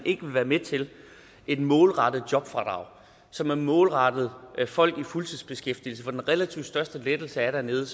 ikke være med til et målrettet jobfradrag som er målrettet folk i fuldtidsbeskæftigelse for den relativt største lettelse er dernede